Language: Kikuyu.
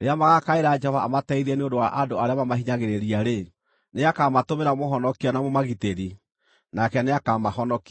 Rĩrĩa magaakaĩra Jehova amateithie nĩ ũndũ wa andũ arĩa mamahinyagĩrĩria-rĩ, nĩakamatũmĩra mũhonokia na mũmagitĩri, nake nĩakamahonokia.